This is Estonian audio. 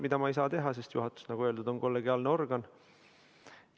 Seda ma ei saa teha, sest juhatus on, nagu öeldud, kollegiaalne organ.